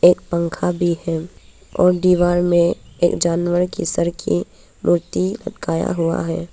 पंखा भी है और दीवार में एक जानवर के सर की मूर्ति लगाया हुआ है।